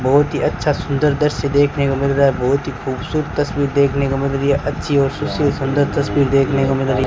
बहोत हि अच्छा सुंदर दृश्य देखने को मिल रहा हैं बहोत हि खूबसूरत तस्वीर देखने को मिल रही हैं अच्छी और सुशील सुंदर तस्वीर देखने को मिल रही --